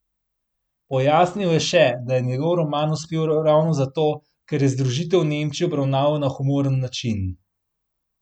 Pojasnil je še, da je njegov roman uspel ravno zato, ker je združitev Nemčij obravnaval na humoren način.